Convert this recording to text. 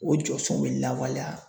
O jɔsɔnw be lawaleya.